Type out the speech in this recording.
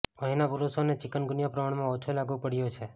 અહીંના પુરુષોને ચિકનગુનિયા પ્રમાણમાં ઓછો લાગુ પડયો છે